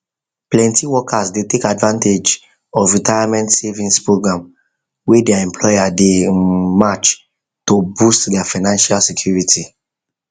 plenty workers dey take advantage of retirement savings program wey their employer dey um match to boost their financial security